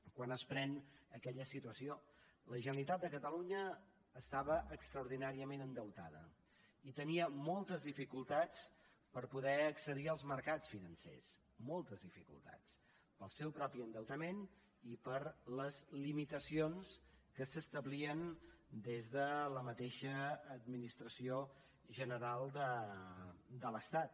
quan es pren aquella decisió la generalitat de catalunya estava extraordinàriament endeutada i tenia moltes dificultats per poder accedir als mercats financers moltes dificultats pel seu propi endeutament i per les limitacions que s’establien des de la mateixa administració general de l’estat